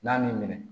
N'a m'i minɛ